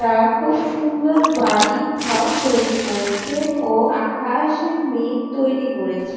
তারা খুব সুন্দর বাড়ি ঘর তৈরি করেছেন ও আকাশে মেঘ তৈরি করেছে।